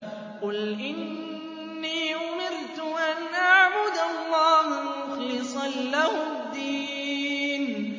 قُلْ إِنِّي أُمِرْتُ أَنْ أَعْبُدَ اللَّهَ مُخْلِصًا لَّهُ الدِّينَ